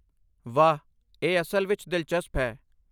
ਵਾਹ! ਇਹ ਅਸਲ ਵਿੱਚ ਦਿਲਚਸਪ ਹੈ।